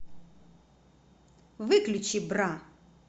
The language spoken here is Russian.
выключи бра